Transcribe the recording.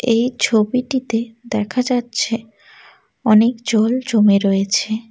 এই ছবিটিতে দেখা যাচ্ছে অনেক জল জমে রয়েছে।